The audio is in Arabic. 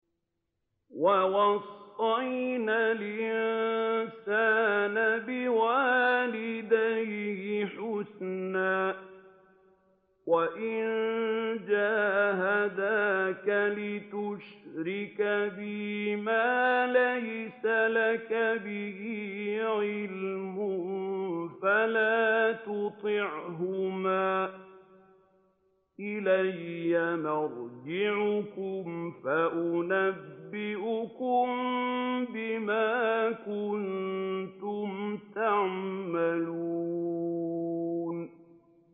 وَوَصَّيْنَا الْإِنسَانَ بِوَالِدَيْهِ حُسْنًا ۖ وَإِن جَاهَدَاكَ لِتُشْرِكَ بِي مَا لَيْسَ لَكَ بِهِ عِلْمٌ فَلَا تُطِعْهُمَا ۚ إِلَيَّ مَرْجِعُكُمْ فَأُنَبِّئُكُم بِمَا كُنتُمْ تَعْمَلُونَ